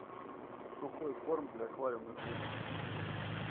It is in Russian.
сухой корм для аквариумных рыбок